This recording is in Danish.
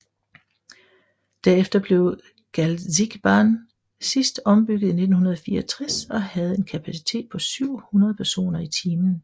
Derefter blev Galzigbahn sidst ombygget i 1964 og havde en kapacitet på 700 personer i timen